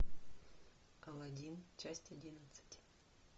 алладин часть одиннадцать